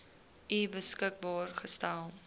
u beskikbaar gestel